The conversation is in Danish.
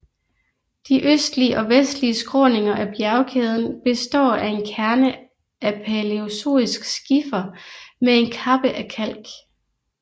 De østlige og vestlige skråninger af bjerkæden består af en kerne af palæozoisk skifer med en kappe af kalk